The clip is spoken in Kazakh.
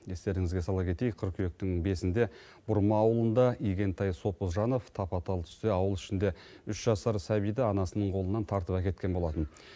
естеріңізге сала кетейік қыркүйектің бесінде бұрма ауылында игентай сопыжанов тапа тал түсте ауыл ішінде үш жасар сәбиді анасының қолынан тартып әкеткен болатын